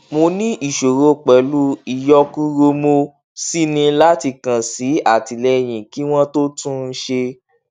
mo ní ìṣòro pẹlú ìyọkuromo sì ní láti kàn sí àtìlẹyìn kí wọn tó tún un ṣe